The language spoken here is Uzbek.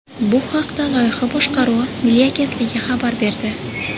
Bu haqda Loyiha boshqaruvi milliy agentligi xabar berdi .